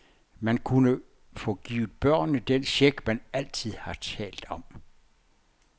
Man kunne få givet børnene den check, man altid har talt om.